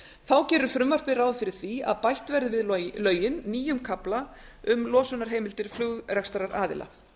þá gerir frumvarpið ráð fyrir því að bætt verði við lögin nýjum kafla um losunarheimildir flugrekstraraðila